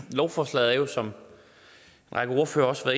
lovforslaget er jo som en række ordførere også har